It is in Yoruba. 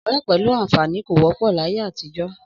Ọ̀rẹ́ pẹ̀lú àǹfààní kò wọ́pọ̀ láyé àtijọ́